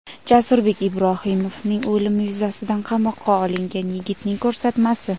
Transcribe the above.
Jasurbek Ibrohimovning o‘limi yuzasidan qamoqqa olingan yigitning ko‘rsatmasi.